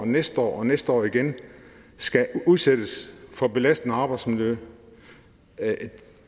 næste år og næste år igen skal udsættes for belastende arbejdsmiljø